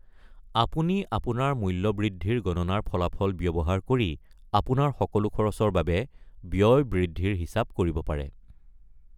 আপুনি আপোনাৰ মূল্য বৃদ্ধিৰ গণনাৰ ফলাফল ব্যৱহাৰ কৰি আপোনাৰ সকলো খৰচৰ বাবে ব্য়য় বৃদ্ধিৰ হিচাপ কৰিব পাৰে।